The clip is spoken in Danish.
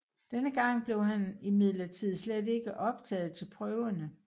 Denne gang blev han imidlertid slet ikke optaget til prøverne